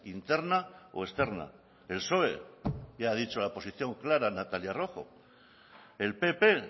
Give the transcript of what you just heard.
interna o externa el psoe ya ha dicho la posición clara natalia rojo el pp